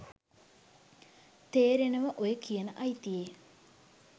තේරෙනව ඔය කියන අයිතියේ